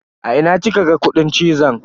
A ina kika ga kudin cizon?